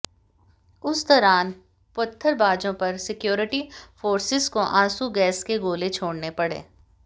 उस दौरान पत्थरबाजों पर सिक्योरिटी फोर्सेस को आंसू गैस के गोले छोड़ने पड़े